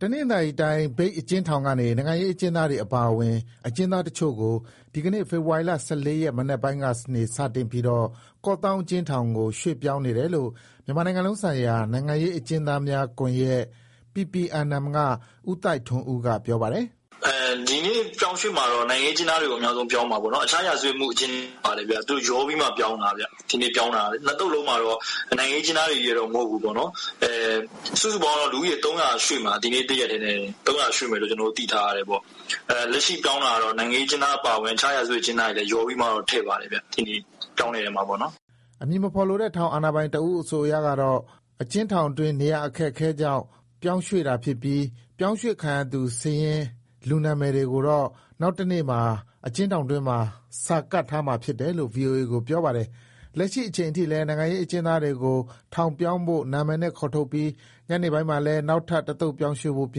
တနင်္သာရီတိုင်း၊ မြိတ်အကျဥ်းထောင်ကနေ နိုင်ငံရေး အကျဥ်းသားတွေ အပါအဝင် အကျဥ်းသားတချို့ကို ဒီကနေ့ ဖေဖော်ဝါရီ ၁၄ ရက် မနက်ပိုင်းကနေ စတင်ပြီး ကော့သောင်း အကျဥ်းထောင်ကို ရွှေ့ပြောင်းနေတယ်လို့ မြန်မာနိုင်ငံလုံးဆိုင်ရာ နိုင်ငံရေး အကျဥ်းသားများကွန်ရက် က ဦးသိုက်ထွန်းဦး က ပြောပါတယ်။ “ဒီနေ့ပြောင်းတာတော့ နိုင်ငံရေးအကျဉ်းသားအများဆုံး ပြောင်းတာပေါ့နော်။ တခြား ရာဇဝတ်မှုအကျဉ်းသားတွေလည်း ပါတယ်။ ရောပြီး ပြောင်းတာပါ။ ရွှေ့ပြီး ၂သုတ်မှာ နိုင်ငံရေးအကျဉ်းသားဘဲချည်းဘဲ မဟုတ်ဘူး။ ရွှေ့မှာ ဒီနေ့တရက်ထဲ ၃၀၀ ရွှေ့မယ် သိထားတယ်။ လက်ရှိပြောင်းတာတော့ နိုင်ငံရေးအကျဉ်းသား အပါအဝင် တခြားရာဇဝတ်အကျဉ်းသားတွေကော ပါပါတယ်။” အမည်မဖော်လိုတဲ့ ထောင်အာဏာပိုင်တဦးအဆိုအရတော့ အကျဉ်းထောင်တွင်း နေရာအခက်အခဲကြောင့်ပြောင်းရွှေ့တာဖြစ်ပြီး ပြောင်းရွှေ့ခံရသူစာရင်း လူနာမည်တွေကိုတော့ နောက်တနေ့မှာ အကျဉ်း ထောင်တွင်းမှာ စာကပ်ထားမှာဖြစ်တယ်လို့ ဗွီအိုအေကိုပြောပါတယ်။ လက်ရှိအချိန်ထိလည်း နိုင်ငံရေးအကျဉ်းသားတွေကို ထောင်ပြောင်းဖို့ နာမည်နဲ့ ခေါ်ထုတ်ပြီး ညနေပိုင်းမှာလည်း နောက်ထပ် တသုတ်ပြောင်းရွှေ့ဖို့ ပြ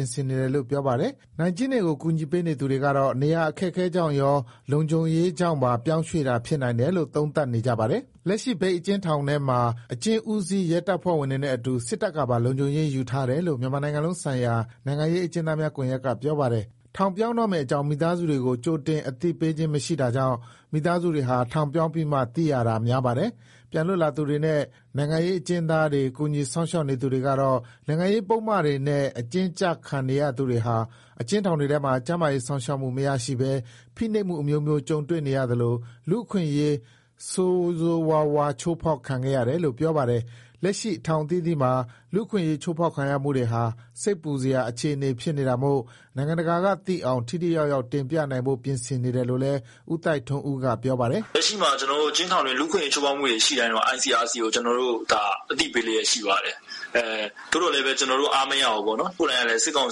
င်ဆင်နေတယ်လို့ ပြောပါတယ်။ နိုင်/ကျဉ်းတွေကို ကူညီပေးနေသူတွေကတော့ နေရာအခက်အခဲကြောင့်ရော၊ လုံခြံရေးကြောင့်ရော ပြောင်းရွှေ့တာ ဖြစ်နိုင်တယ်လို့ သုံးသပ်နေကြပါတယ်။ လက်ရှိ မြိတ်အကျဉ်းထောင်ထဲမှာ အကျဉ်းဦးစီး ရဲတပ်ဖွဲ့ဝင်တွေနဲ့အတူ စစ်တပ်ကပါ လုံခြုံရေးယူထားတယ်လို့ မြန်မာနိုင်ငံလုံးဆိုင်ရာ နိုင်ငံရေး အကျဉ်းသားများကွန်ရက်က ပြောပါတယ်။ ထောင်ပြောင်းမဲ့ အကြောင်း မိသားစုကို ကြိုတင် အသိမပေးခြင်း မရှိတာကြောင့် မိသားစုဝင်တွေဟာ ထောင်ပြောင်းပြီးမှသာ သိရတာများပါတယ်။ ပြန်လွတ်လာသူတွေနဲ့ နိုင်ငံရေးအကျဉ်းသားတွေ ကူညီစောင့်ရှောက်နေသူတွေကတော့ နိုင်ငံရေးပုဒ်မ တွေနဲ့ အကျဉ်းကျခံနေရသူတွေဟာ အကျဉ်းထောင်ထဲမှာ ကျန်းမာရေးစောင့်ရှောက်မှု မရရှိဘဲ ဖိနှိပ်မှု အမျိုးမျိုး ကြုံတွေ့နေရသလို လူ့အခွင့်အရေး ဆိုးရွားစွာ ချိုးဖောက်ခံခဲ့ရတယ်လို့ ပြောပါတယ်။ လက်ရှိ ထောင်အသီးသီးမှာ လူ့အခွင့်အရေးချိုးဖောက်ခံရမှုတွေဟာ စိတ်ပူစရာအခြေအနေဖြစ်နေတာမို့ နိုင်ငံတကာက သိအောင် ထိထိရောက်ရောက် တင်ပြနိုင်ဖို့ ပြင်ဆင်နေတယ်လို့လည်း ဦးသိုက်ထွန်းဦးက ပြောပါတယ်။ “လက်ရှိအကျဉ်းထောင်တွေထဲ လူ့အခွင့်အရေးချိုးဖောက်တာတွေကို ICRC ကို ကျနော်တို့ အသိပေးလျက်ရှိပါတယ်။ သူတို့ကို ကျနော်တို့ အားမရဘူး။ ကိုယ်တိုင်က စစ်ကောင်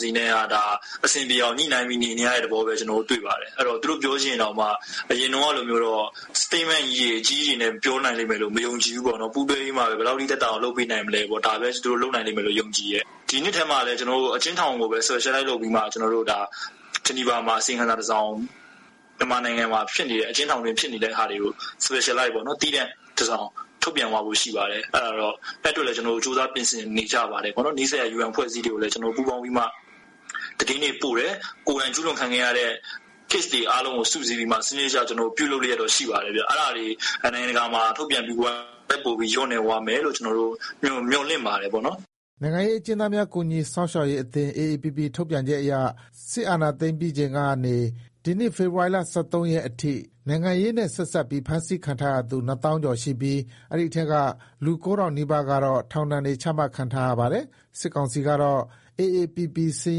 စီနဲ့ ညှိုနှိုင်းပြီးနေနေရတဲ့သဘောလဲ တွေ့ပါတယ်။ သူတို့ပြောချင်ရင်တောင်မှ အရင်ကလို Statement အကြီးကြီးတွေနဲ့ ပြောနိုင်မယ်လို့ မယုံကြည်ဘူး။ ပူးတွဲပြီးမှ ဘယ်လောက်သက်သာအောင် လုပ်နိုင်မလဲဆိုတာမျိုးဘဲ ထင်တယ်။ ဒီနှစ်ထဲမှာ အကျဉ်းထောင်ကိုဘဲ Specialize ပြီးမှ ကျနော်တို့ Geneva အစီအရင်ခံစာ တစောင်၊ မြန်မာနိုင်ငံမှာ အကျဉ်းထောင်အတွင်း ဖြစ်နေတဲ့ဟာတွေ၊ Specialize တစောင်၊ သီးသန့် စာတမ်းတစောင် ထုတ်ပြန်သွားဖို့ ရှိပါတယ်။ UN ကိုလည်း ကျနော်တို့ သတင်းတွေပို့ပါတယ်။ နောက် ကိုယ်တိုင်ကျူးလွန်ခံရသူတွေ ဖြစ်တဲ့အဖြစ်အပျက်အလိုက် သေချာ စုစည်းတင်ပြသွားဖို့ ကျနော်တို့ပြင်နေပါတယ်။ ဒီလို ထုတ်ပြန်နိုင်ရင်တော့ နိုင်ငံတကာဖိအားကြောင့် ကျူးလွန်မှုတွေ လျော့လာမယ်လို့မျှော်လင့်ပါတယ်။” နိုင်ငံရေးအကျဉ်းသားများ ကူညီစောင့်ရှောက်ရေးအသင်း အေအေပီပီ ထုတ်ပြန်ချက်အရ စစ်အာဏာ သိမ်းပြီးချိန်ကနေ ဒီနှစ်ဖေဖော်ဝါရီ ၁၃ရက်အထိ နိုင်ငံရေးနဲ့ဆက်စပ်ပြီး ဖမ်းဆီးခံထားရသူ နှစ်သောင်းကျော်ရှိပြီး အဲဒီအထဲက လူကိုးထောင်နီးပါးကတော့ ထောင်ဒဏ်တွေ ချမှတ်ခံထားရပါတယ်။ စစ်ကောင်စီဘက်ကတော့ အေအေပီပီ စာ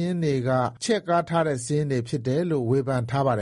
ရင်းတွေက ချဲ့ကားထားတဲ့ စာရင်းတွေဖြစ်တယ်လို့ ဝေဖန်ထားပါတယ်